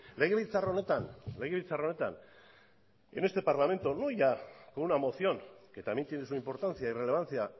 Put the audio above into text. legebiltzar honetan legebiltzar honetan en este parlamento no ya una moción que también tiene su importancia y relevancia